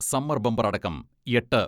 summer bumper അടക്കം എട്ട്